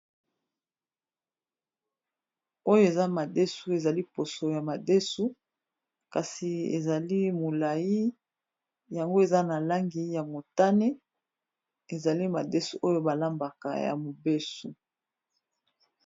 Oyo eza madesu ezali poso ya madesu kasi ezali molayi yango eza na langi ya motane ezali madesu oyo balambaka ya mobesu.